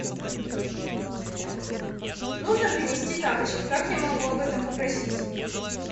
нужно принести тапочки как я могу об этом попросить